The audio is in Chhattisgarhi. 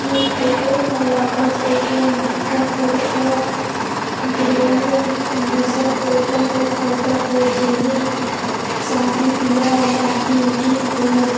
ये फोटो ह लगा थेकी अंबिकापुर का ग्रेन बसन होटल का फोटो हैं जेमे शादी बियाह पार्टी उरटी होएल--